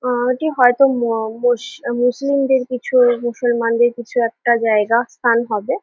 উম-এটি হয়তো মুসলিমদের কিছু মুসলমানদের কিছু একটা জায়গা স্থান হবে ।